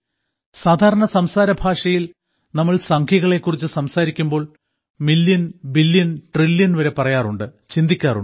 സാധാരണ സംസാരഭാഷയിൽ നമ്മൾ സംഖ്യകളെ കുറിച്ച് സംസാരിക്കുമ്പോൾ മില്യൺ ബില്യൺ ട്രില്യൺ വരെ പറയാറുണ്ട് ചിന്തിക്കാറുണ്ട്